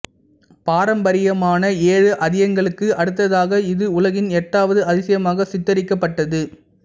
பாரம்பரியமான ஏழு அதியங்களுக்கு அடுத்ததாக இது உலகின் எட்டாவது அதிசயமாக சித்தரிக்கப்பட்டது